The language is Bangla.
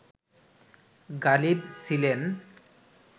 গালিব ছিলেন